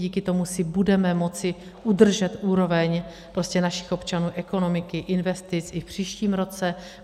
Díky tomu si budeme moci udržet úroveň našich občanů, ekonomiky, investice i v příštím roce.